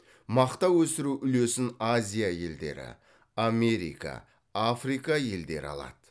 мақта өсіру үлесін азия елдері америка африка елдері алады